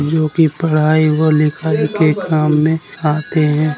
जो कि पढ़ाई और लिखाई के काम में आते हैं।